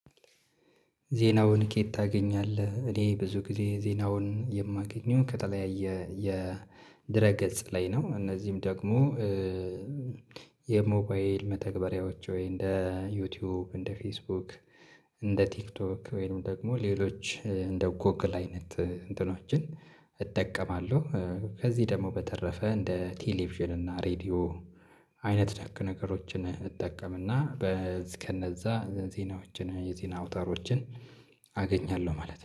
ዜናውን? ከየት ታገኛለህ እኔ ብዙ ጊዜ ዜናውን የማገኘውን ከተለያየ የድረ ገጽ ላይ ነው። እነዚህም ደግሞ የሞባይል መተግበሪያዎች ወይ እንደ ዩቲዩብ እንደ ፌስቡክ እንደ ቲክቶክ ወይም ደግሞ ሌሎች እንደ ጎግል አይነት እንትኖችን እጠቀማለሁ። ከዚህ ደግሞ በተረፈ እንደ ቴሌቪዥን እና ሬድዮ አይነት ደግ ነገሮችን እጠቀምና በዚህ ከነዛ ዜናዎችን የዜና አውታሮችን አገኛለሁ ማለት ነው